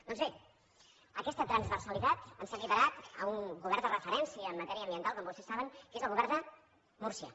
doncs bé aquesta transversalitat ens ha equiparat a un govern de referència en matèria ambiental com vostès saben que és el govern de múrcia